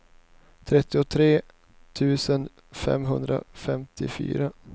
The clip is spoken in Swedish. trettiotre tusen femhundrafemtiofyra